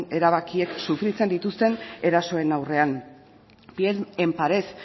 erabakiek sufritzen dituzten erasoen aurrean bien en pared